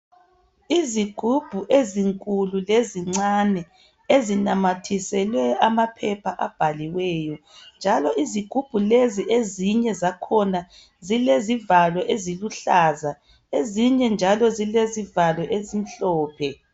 izigubhu ezinkulu lezincane ezinamathiselwe amaphepha abhaliweyo njalo izigubhu lezi ezinye zakhona zilezivalo eziluhlaza ezinye njalo zilezivalo ezimhlophe